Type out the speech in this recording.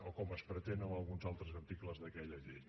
o com es pretén en alguns altres articles d’aquella llei